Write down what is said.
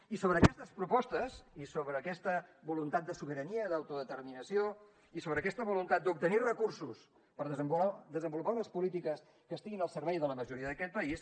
i sobre aquestes propostes i sobre aquesta voluntat de sobirania i d’autodeterminació i sobre aquesta voluntat d’obtenir recursos per desenvolupar unes polítiques que estiguin al servei de la majoria d’aquest país